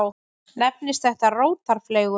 Nefnist þetta rótarfleygun.